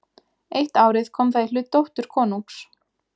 Eitt árið kom það í hlut dóttur konungs.